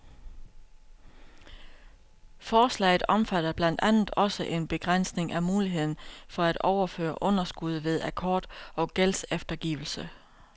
Forslaget omfatter blandt andet også en begrænsning af muligheden for at overføre underskud ved akkord og gældseftergivelse.